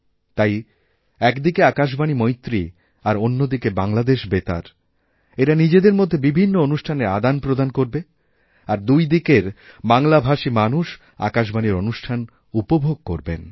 তাই একদিকে আকাশবাণীমৈত্রী আর অন্যদিকে বাংলাদেশ বেতার এরা নিজেদের মধ্যে বিভিন্ন অনুষ্ঠানের আদানপ্রদানকরবে আর দুই দিকের বাংলাভাষী মানুষ আকাশবাণীর অনুষ্ঠান উপভোগ করবেন